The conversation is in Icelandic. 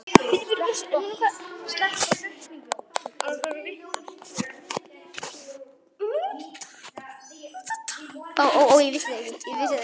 Hvað var nú til ráða?